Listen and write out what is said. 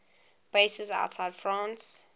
bases outside france